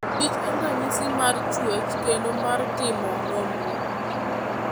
kich en ranyisi mar chwech kendo mar timo nonro.